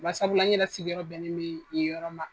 Basabula ne yɛrɛ sigiyɔrɔ bɛnen bɛ o yɔrɔ ma.